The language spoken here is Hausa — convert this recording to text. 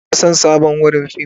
Ina son sabon wurin fim.